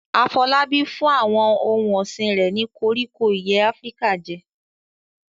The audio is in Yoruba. Afolabi fún àwọn ohun ọ̀sìn rẹ̀ ní koríko ìyẹ́ Áfíríkà jẹ.